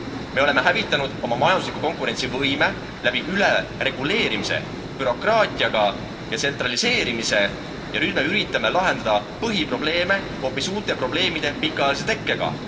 Me oleme hävitanud oma majandusliku konkurentsivõime läbi ülereguleerimise, bürokraatia ja tsentraliseerimise ja nüüd me üritame lahendada põhiprobleeme hoopis uute probleemide pikaajalise tekkega.